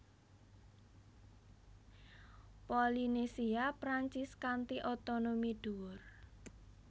Polinésia Prancis kanthi otonomi dhuwur